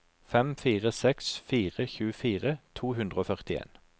fem fire seks fire tjuefire to hundre og førtien